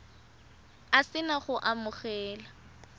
o se na go amogela